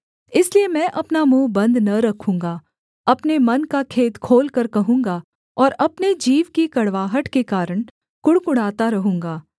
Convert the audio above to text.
इसलिए मैं अपना मुँह बन्द न रखूँगा अपने मन का खेद खोलकर कहूँगा और अपने जीव की कड़वाहट के कारण कुढ़कुढ़ाता रहूँगा